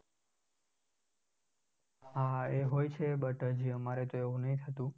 હા એ હોય છે but અમારે તો હજુ એવું નહિ થતું